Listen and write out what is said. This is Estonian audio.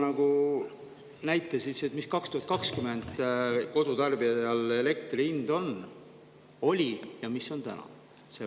Sa oleksid võinud ikka tuua näite, mis oli kodutarbijal elektri hind 2020 ja mis see on täna.